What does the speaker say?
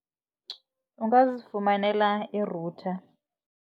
Ungazifumanela i-router.